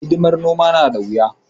Hidimar noma na da wuya.